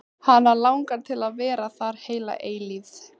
Hana langar til að vera þar heila eilífð.